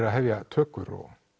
að byrja tökur